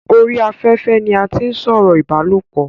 orí afẹ́fẹ́ ni a tí ń sọ̀rọ̀ ìbálòpọ̀